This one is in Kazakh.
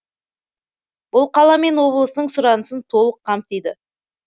бұл қала мен облыстың сұранысын толық қамтиды